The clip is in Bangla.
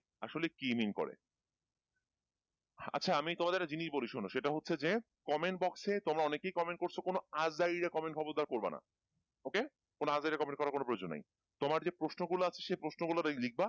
আসলে কি mean করে আচ্ছা আমি তোমাদের একটা জিনিস বলি শোনো সেটা হচ্ছে যে comment box এ তোমরা অনেকেই comment করছো কোন আজাইরা comment খবরদার করবেনা OK? কোন আজাইরা comment করার কোন প্রয়োজন নেই তোমাদের যে প্রশ্নগুলো আসে সেই প্রশ্নগুলো লিখবা,